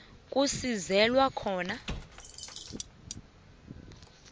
la kusizelwa khona